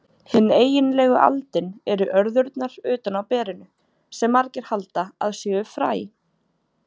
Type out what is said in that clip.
Hin eiginlegu aldin eru örðurnar utan á berinu, sem margir halda að séu fræ.